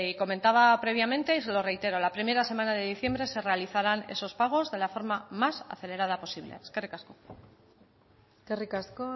comentaba previamente y se lo reitero la primera semana de diciembre se realizarán esos pagos de la forma más acelerada posible eskerrik asko eskerrik asko